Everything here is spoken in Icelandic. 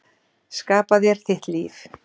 Skapa þér þitt líf.